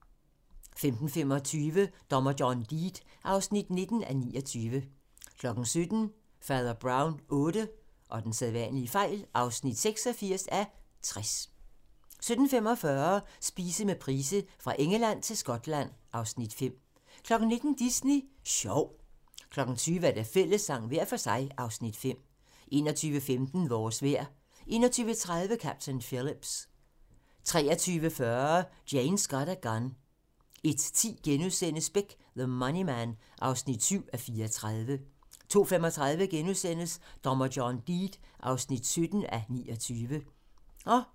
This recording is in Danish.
15:25: Dommer John Deed (19:29) 17:00: Fader Brown VIII (86:60) 17:45: Spise med Price - Fra Engeland til Skotland (Afs. 5) 19:00: Disney Sjov 20:00: Fællessang – hver for sig (Afs. 5) 21:15: Vores vejr 21:30: Captain Phillips 23:40: Jane Got a Gun 01:10: Beck: The Money Man (7:34)* 02:35: Dommer John Deed (17:29)*